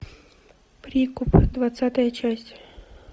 прикуп двадцатая часть